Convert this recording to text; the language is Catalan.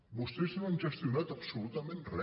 vostès no han gestionat absolutament re